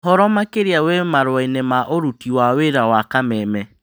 Ũhoro makĩria wĩ marũainĩ ma ũruti wĩra ma Kameme